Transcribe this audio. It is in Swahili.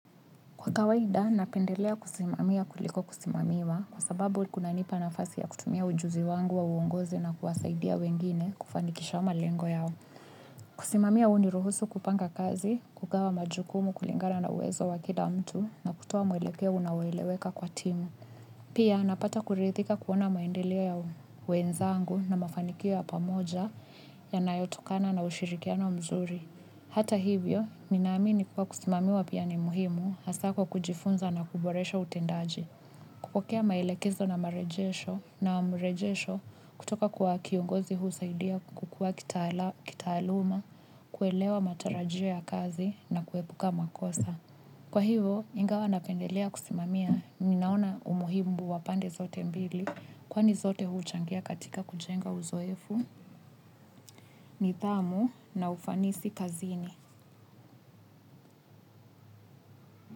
Kwa kawaida, napendelea kusimamia kuliko kusimamiwa kwa sababu kuna nipa na fasi ya kutumia ujuzi wangu wa uongozi na kuwasaidia wengine kufanikisha malengo yao. Kusimamia huniruhusu kupanga kazi kugawa majukumu kulingana na uwezo wa kila mtu na kutoa muelekeo unaoeleweka kwa timu. Pia, napata kuridhika kuona maendeleo ya, wenzangu na mafanikio ya pamoja ya nayo tokana na ushirikiano mzuri. Hata hivyo, ninaamini kuwa kusimamiwa pia ni muhimu hasa kwa kujifunza na kuboresha utendaji. Kupokea maelekezo na marejesho na rejesho kutoka kwa kiongozi husaidia kukua kitaaluma, kuelewa matarajio ya kazi na kuepuka makosa. Kwa hivo, ingawa napendelea kusimamia, ninaona umuhimu wa pande zote mbili kwani zote huchangia katika kujenga uzoefu, nidhamu na ufanisi kazini.